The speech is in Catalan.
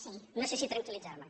sí no sé si tranquil·litzar me